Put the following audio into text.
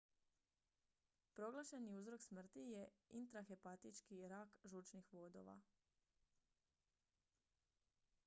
proglašeni uzrok smrti je intrahepatični rak žučnih vodova